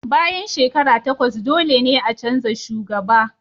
Bayan shekaru takwas, dole ne a canza shugaba.